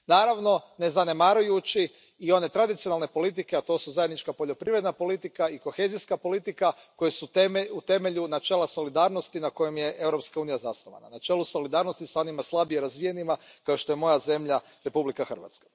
Naravno, ne zanemarujući i one tradicionalne politike, a to su zajednička poljoprivredna politika i kohezijska politika, koje su u temelju načela solidarnosti na kojem je Europska unija zasnovana, na čelu solidarnosti s onima slabije razvijenima, kao što je moja zemlja Republika Hrvatska.